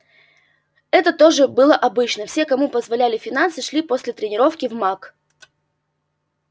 это тоже было обычно все кому позволяли финансы шли после тренировки в мак